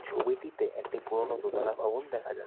ছবিটিতে একটি পুরনো দোতোলা ভবন দেখা যাচ্ছে।